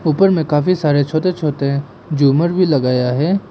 ऊपर में काफी सारे छोटे छोटे झूमर भी लगाया है।